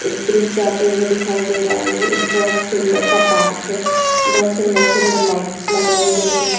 एक ब्रिज जाते हुए दिखाई दे रहा है ये एक बोहोत सुंदर सा पार्क है बोहोत सुंदर सुंदर लाइट्स लगाई गई है।